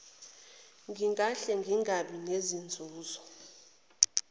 ngingahle ngingabi nazinzuzo